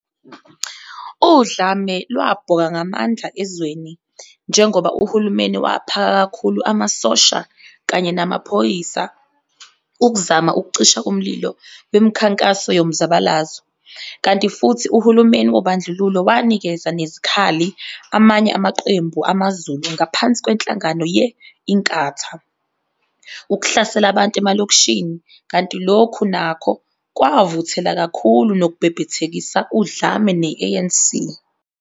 Udlame lwabhoka ngamandla ezweni njengoba uhulumeni waphaka kakhulu amasosha kanye namaphoyisa ukuzama ukucisha umlilo wemikhankaso yomzabalazo, kanti futhi uhulumeni wobandlululo wanikeza nezikhali amanye amaqembu amaZulu ngaphansi kwenhlangano ye-Inkatha, ukuhlasela abantu emalokishini, kanti lokhu nakho kwavuthela kakhulu nokubhebhethekisa udlame ne-ANC.